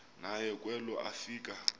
naye kwelo afika